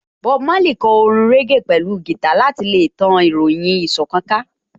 Bob Marley kò orin régè pẹ̀lú gìtá láti ṣe tan ìròyìn ìṣọ̀kan ká